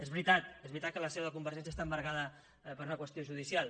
és veritat és veritat que la seu de convergència està embargada per una qüestió judicial